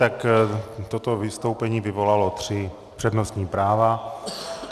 Tak toto vystoupení vyvolalo tři přednostní práva.